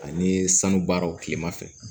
Ani sanu baaraw tilema fɛ